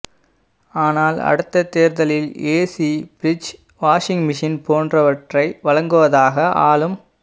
ஆனால் அடுத்த தேர்தலில் ஏசி பிரிஜ் வாஷிங் மிஷின் போன்றவற்றை வழங்குவதாக ஆளும்